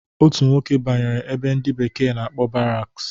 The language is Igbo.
Otu nwoke banyere ebe ndi bekee na-akpọ baraks